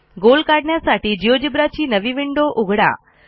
गोल काढण्यासाठी जिओजेब्रा ची नवी विंडो उघडा